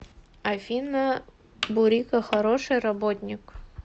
афина бурико хороший работник